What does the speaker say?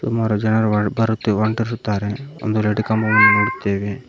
ಸುಮಾರು ಜನರು ಹೊಂಟಿರುತ್ತಾರೆ ಒಂದು ರೆಡ್ ಕಂಬವನ್ನು ನೋಡುತ್ತೇವೆ.